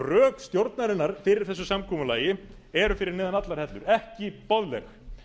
rök stjórnarinnar fyrir þessu samkomulagi eru fyrir neðan allar hellur ekki boðleg